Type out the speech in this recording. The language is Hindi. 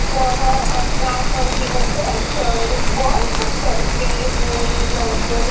वह अपना कंप्यूटर पर वर्क करते हुए नजर--